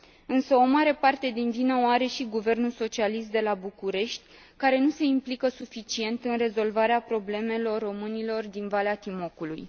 Însă o mare parte din vină o are și guvernul socialist de la București, care nu se implică suficient în rezolvarea problemelor românilor din Valea Timocului.